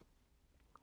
DR K